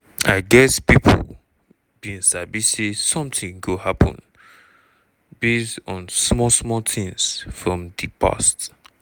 i guess pipo bin sabi say sometin go happun base on small small tins from di past.